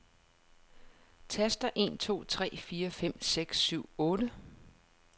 Tester en to tre fire fem seks syv otte.